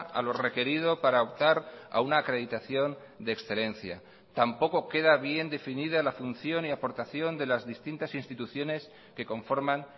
a lo requerido para optar a una acreditación de excelencia tampoco queda bien definida la función y aportación de las distintas instituciones que conforman